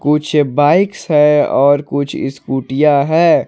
कुछ बाइक्स है और कुछ स्कूटियां हैं।